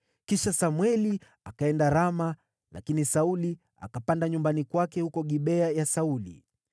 Kisha Samweli akaenda Rama, lakini Sauli akapanda nyumbani kwake huko Gibea ya Sauli.